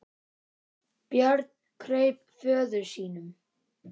Björn kraup föður sínum.